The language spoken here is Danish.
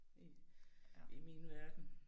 I i min verden